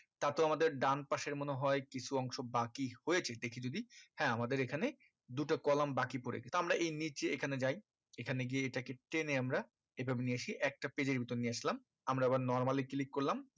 তারপর আমাদের ডানপাশের মনে হয় কিছু অংশ বাকি হয়েছে দেখি যদি হ্যাঁ আমাদের এইখানে দুটা column বাকি পড়েছে তো আমরা এই নিচে এইখানে যায় এই খানে গিয়ে এটাকে টেনে আমরা এই ভাবে নিয়ে এসে একটা page এর ভিতর নিয়ে আসলাম আমরা আবার normal ই click করলাম